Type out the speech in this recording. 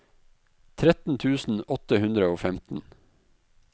tretten tusen åtte hundre og femten